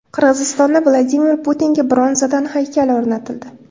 Qirg‘izistonda Vladimir Putinga bronzadan haykal o‘rnatildi .